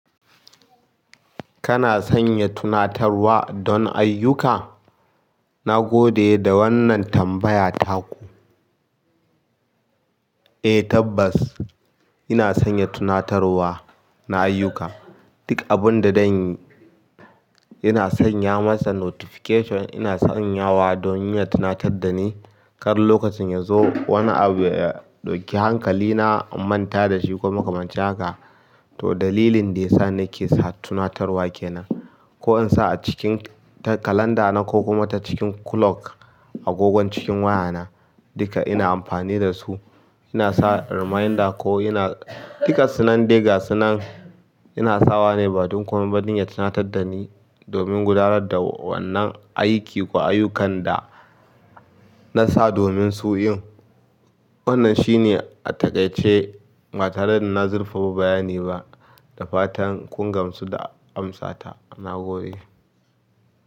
Kana sanya tunatarwa don ayyuka? Na gode da wannan tambaya taku. Eh tabbas, ina sanya tunatarwa na ayyuka. Duk abun da danyi ina sanya masa notification, ina sanyawa don ya tunatar da ni. Kar lokacin ya zo wani abu ya ɗauki hankalina, in manta da shi ko makamancin haka, to dalilin da ya sa nake sa tunatarwa kenan. Ko in sa a cikin kalanda na ko kuma ta cikin clock agogon cikin waya na, duka ina amfani da su. Ina sa reminder ko ina, duk ga sunan dai ga sunan ina sawa ne ba dun komai don ya tunatar da ni domin gudanar da wannan aiki ko ayyukan da na sa domin su yin. Wannan shine a takaice ba tare da na zurfafa bayani ba da fatan kun gamsu da amsata. Na gode.